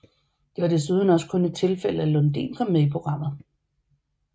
Det var desuden også kun et tilfælde at Lundin kom med i programmet